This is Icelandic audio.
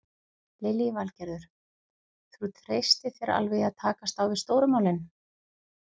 Lillý Valgerður: Þú treystir þér alveg í að takast á við stóru málin?